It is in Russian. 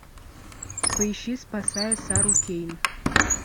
поищи спасая сару кейн